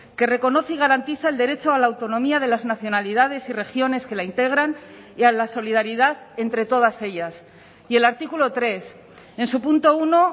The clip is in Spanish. que reconoce y garantiza el derecho a la autonomía de las nacionalidades y regiones que la integran y a la solidaridad entre todas ellas y el artículo tres en su punto uno